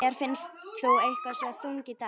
Mér finnst þú eitthvað svo þung í dag.